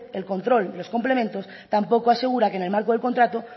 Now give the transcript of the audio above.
el control y los complementos tampoco aseguran que en el marco del contrato